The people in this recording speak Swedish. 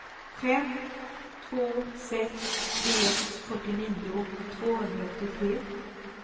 fem två sex tre fyrtionio tvåhundraåttiotre